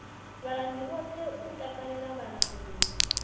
vhalanguli vhoṱhe u katela vhalanguli